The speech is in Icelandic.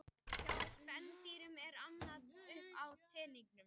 Hjá spendýrum er annað upp á teningnum.